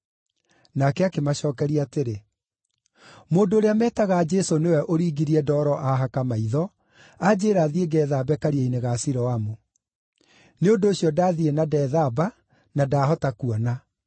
Nake akĩmacookeria atĩrĩ, “Mũndũ ũrĩa metaga Jesũ nĩwe ũringirie ndoro aahaka maitho, anjĩĩra thiĩ ngeethambe Karia-inĩ ga Siloamu. Nĩ ũndũ ũcio ndathiĩ na ndeethamba, na ndahota kuona.”